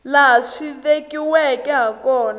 laha swi vekiweke ha kona